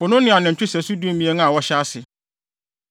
Po no ne anantwi sɛso dumien a wɔhyɛ ase,